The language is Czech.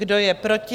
Kdo je proti?